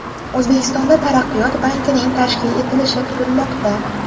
O‘zbekistonda Taraqqiyot bankining tashkil etilishi kutilmoqda.